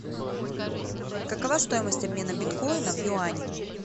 какова стоимость обмена биткоина в юани